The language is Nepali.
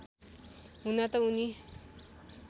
हुन त उनी